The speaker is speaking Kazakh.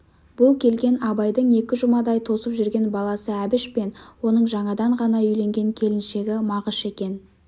бұл келген абайдың екі жұмадай тосып жүрген баласы әбіш пен оның жаңадан ғана үйленген келіншегі мағыш екен